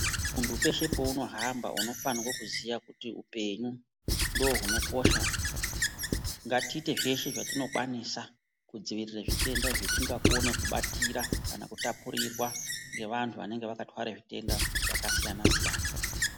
Muntu peshe paunohamba unofana kuziya kuti upenyu ndohwunokosha ngatiite zveshe zvatinokwanisa kudzivirire zvitenda zvatingakone kubatira kana kutapurirwa ngevantu vanenge vakatwara zvitenda zvakasiyana siyana.